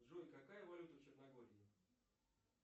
джой какая валюта в черногории